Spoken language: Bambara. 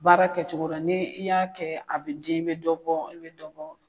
Baara kɛcogo dɔn ni i y'a kɛ a be den i be dɔ bɔ i be dɔ bɔ